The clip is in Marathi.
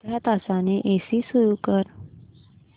अर्ध्या तासाने एसी सुरू कर